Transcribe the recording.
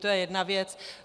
To je jedna věc.